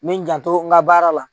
N bɛ n janto n ka baara la